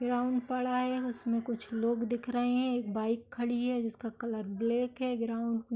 Ground पड़ा है। उसमें कुछ लोग दिख रहें हैं। एक बाइक खड़ी है जिसका कलर ब्लैक है। ग्राउंड --